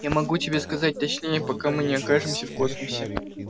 я могу тебе сказать точнее пока мы не окажемся в космосе